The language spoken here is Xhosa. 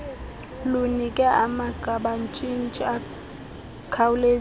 lunike amagqabantshintshi akhawulezileyo